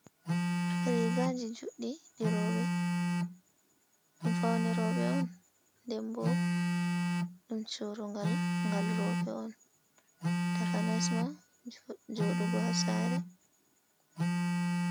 Riga je joɗɗi ɗirooɓe ɗum faune roɓe on ɗenɓo ɗum churugal gal roɓe on takanas ma jodugo ha sare.